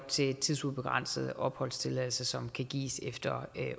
til en tidsubegrænset opholdstilladelse som kan gives efter